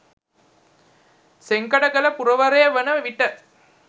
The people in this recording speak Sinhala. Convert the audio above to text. සෙංකඩගල පුරවරය වන විට